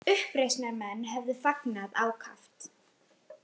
Uppreisnarmenn hefðu fagnað ákaft